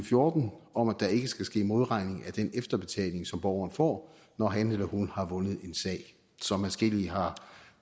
fjorten om at der ikke skal ske modregning af den efterbetaling som borgeren får når han eller hun har vundet en sag som adskillige har